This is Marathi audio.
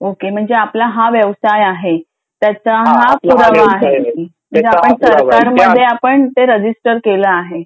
ओके म्हणजे आपला हा व्यवसाय आहे तर त्याचा हा पुरावा आहे तर मग ते आपण रजिस्टर केलं आहे